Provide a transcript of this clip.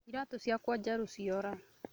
Iratũciakwa njerũnĩ ciora